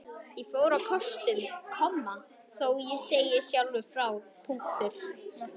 Ég fór á kostum, þó ég segi sjálfur frá.